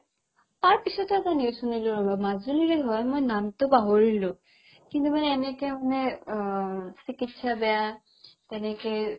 তাৰপিছতে আকৌ news শুনিলো ৰ'বা মাজুলিৰে হয় মই নামটো পাহৰিলো কিন্তু মানে এনেকে মানে অ চিকিৎসা বেয়া তেনেকে